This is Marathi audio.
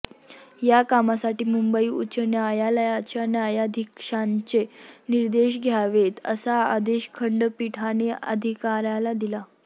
या कामासाठी मुंबई उच्च न्यायालयाच्या न्यायाधीशांचे निर्देश घ्यावेत असा आदेश खंडपीठाने अधिकाऱयाला दिला